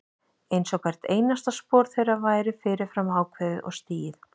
Einsog hvert einasta spor þeirra væri fyrir fram ákveðið og stigið.